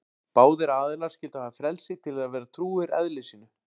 Báðir aðilar skyldu hafa frelsi til að vera trúir eðli sínu.